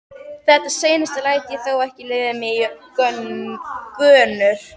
Þetta seinasta læt ég þó ekki leiða mig í gönur.